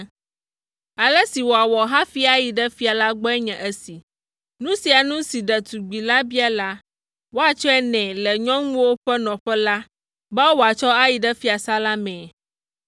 Ale si wòawɔ hafi ayi ɖe fia la gbɔe nye esi: Nu sia nu si ɖetugbi la bia la, woatsɔe nɛ le nyɔnuwo ƒe nɔƒe la be wòatsɔ ayi ɖe fiasã la mee.